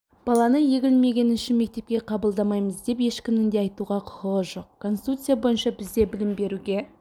баланы егілмегені үшін мектепке қабылдамаймыз деп ешкімнің де айтуына құқығы жоқ конституция бойынша бізде білім беруге